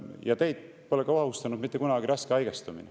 Ja teid pole ka ohustanud mitte kunagi raske haigestumine.